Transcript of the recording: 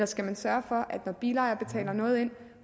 skal sørge for at når bilejere betaler noget ind